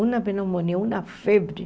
Uma pneumonia, uma febre.